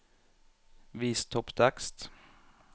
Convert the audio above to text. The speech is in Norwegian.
Vis topptekst